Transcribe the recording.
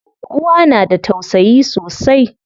Uwa na da tausayi sosai.